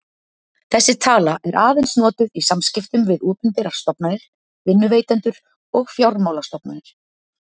Þessi tala er aðeins notuð í samskiptum við opinberar stofnanir, vinnuveitendur og fjármálastofnanir.